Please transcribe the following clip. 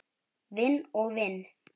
Vinn og vinn?